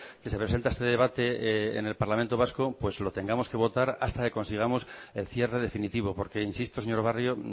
que se presenta este debate en el parlamento vasco pues lo tengamos que votar hasta que consigamos el cierre definitivo porque insisto señor barrio